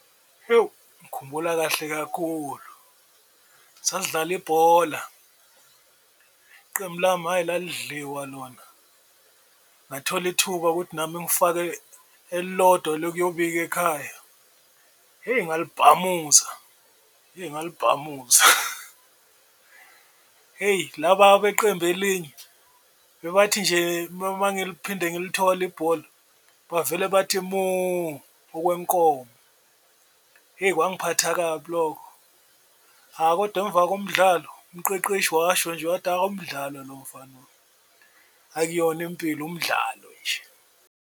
Ewu ngikhumbula kahle kakhulu sasidlala ibhola iqembu lami hhayi lalidliwa lona, ngathola ithuba ukuthi nami ngifake elilodwa lokuyobika ekhaya, heyi ngalibhamuza eyi ngalibhamuza. Hheyi laba beqembu, elinye bebathi nje mangiliphinde ngilithola ibhola bavele bathi moo okwenkomo hheyi kwangiphatha kabi lokho, hha kodwa emva komdlalo umqeqeshi washo nje wathi, hha umdlalo lo mfana wami akuyona impilo umdlalo nje.